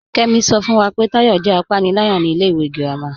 Kẹ́mí ṣọ́ fún wá pé Táyọ̀ jẹ́ àpánìlàyà ní ilẹ̀ ìwé gírámà.